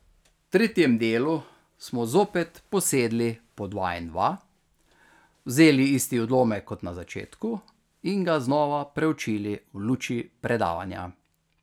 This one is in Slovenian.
V tretjem delu smo zopet posedli po dva in dva, vzeli isti odlomek kot na začetku in ga znova preučili v luči predavanja.